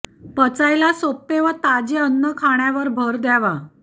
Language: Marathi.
पचायला सोपे व ताजे अन्न खाण्यावर भर द्यावा